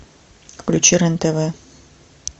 включи рен тв